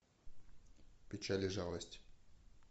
печаль и жалость